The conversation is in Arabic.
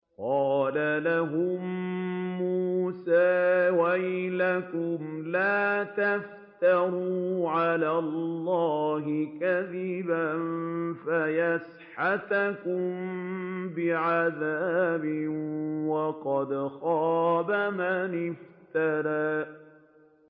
قَالَ لَهُم مُّوسَىٰ وَيْلَكُمْ لَا تَفْتَرُوا عَلَى اللَّهِ كَذِبًا فَيُسْحِتَكُم بِعَذَابٍ ۖ وَقَدْ خَابَ مَنِ افْتَرَىٰ